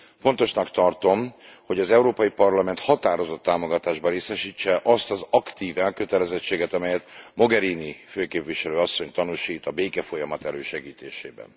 Fontosnak tartom, hogy az Európai Parlament határozott támogatásban részesítse azt az aktív elkötelezettséget, amelyet Mogherini főképviselő asszony tanúsít a békefolyamat elősegítésében.